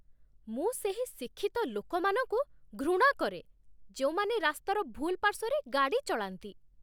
ମୁଁ ସେହି ଶିକ୍ଷିତ ଲୋକମାନଙ୍କୁ ଘୃଣା କରେ ଯେଉଁମାନେ ରାସ୍ତାର ଭୁଲ୍ ପାର୍ଶ୍ୱରେ ଗାଡ଼ି ଚଳାନ୍ତି।